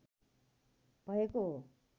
भएको हो